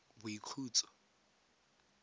boikhutso